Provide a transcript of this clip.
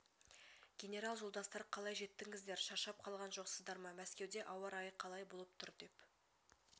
генерал жолдастар қалай жеттіңіздер шаршап қалған жоқсыздар ма мәскеуде ауа-райы қалай болып тұр деп